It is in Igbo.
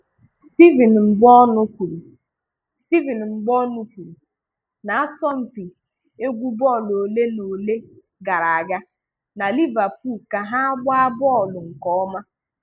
Stephen Mbonụ kwuru Stephen Mbonụ kwuru n'asompi egwú bọọlụ ole na ole gara aga, na Liverpool ka ha agba bọọlụ nke ọma..